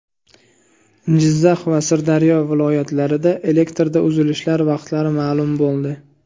Jizzax va Sirdaryo viloyatlarida elektrda uzilishlar vaqtlari ma’lum bo‘ldi.